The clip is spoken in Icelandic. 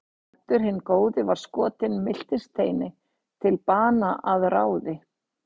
Baldur hinn góði var skotinn mistilteini til bana að ráði